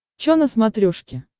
чо на смотрешке